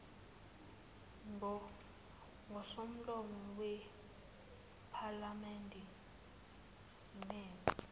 ngosomlomo wephalamende simeme